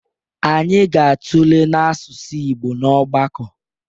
Anyị ga-atụle n'asụsụ Igbo n'ọgbakọ